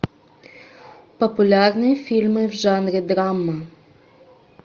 популярные фильмы в жанре драма